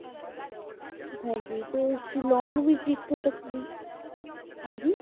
ਹਾਂਜੀ ਤੇ ਸਿਲਾਂਗ ਵਿੱਚ ਇੱਕ ਤਕਨੀ~ ਹਾਂਜੀ